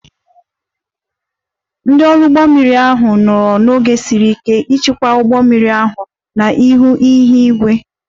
Ndị ọrụ ụgbọ mmiri ahụ nwere oge siri ike ịchịkwa ụgbọ mmiri ahụ n'ihi ihu igwe ọjọọ